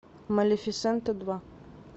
малефисента два